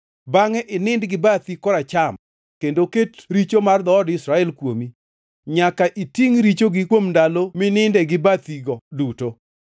“Bangʼe inind gi bathi koracham kendo ket richo mar dhood Israel kuomi. Nyaka itingʼ richogi kuom ndalo mininde gi bathigo duto.